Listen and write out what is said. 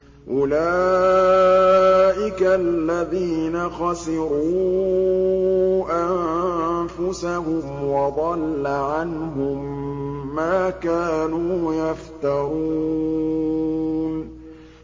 أُولَٰئِكَ الَّذِينَ خَسِرُوا أَنفُسَهُمْ وَضَلَّ عَنْهُم مَّا كَانُوا يَفْتَرُونَ